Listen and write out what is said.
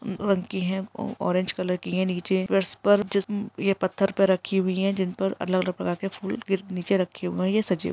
--ऊ रंग की हैं ऑरेंज कलर की हैं नीचे प्लस पर जिस पत्थर पे रखी हुई हैंजिनपे अलग अलग प्रकार के फूल नीचे रखे हुए हैं। या सजे हुए--